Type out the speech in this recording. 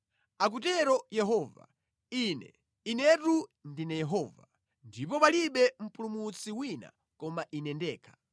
Akutero Yehova, “Ine, Inetu ndine Yehova, ndipo palibe Mpulumutsi wina koma Ine ndekha.